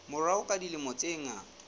morao ka dilemo tse ngata